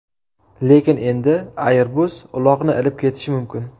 Lekin endi Airbus uloqni ilib ketishi mumkin.